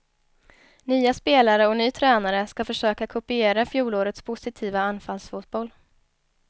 Nya spelare och ny tränare ska försöka kopiera fjolårets positiva anfallsfotboll.